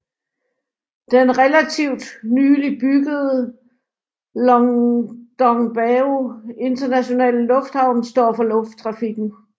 Den relativt nylig byggede Longdongbao Internationale Lufthavn står for lufttrafikken